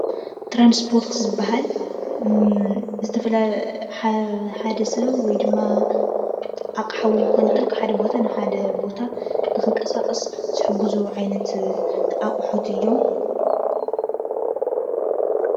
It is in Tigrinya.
ትራንስፖርት ዝበሃሉ ሓደ ሰብ ወይ ድማ ኣቅሓ ዉን ክኮን ይኽእል ካብ ሓደ ቦታ ናብ ሓደ ቦታ ንክንቀሳቀስ ዝሕግዙ ዓይነት ኣቁሑት እዮም:።